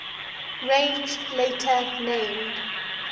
range later named